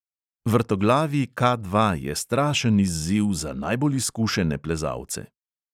Vrtoglavi K dva je strašen izziv za najbolj izkušene plezalce.